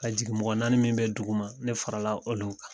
Ka jigin mɔgɔ naani min bɛ dugu ma ne farala olu kan.